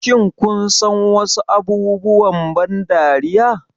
Shin kun san wasu abubuwan ban dariya?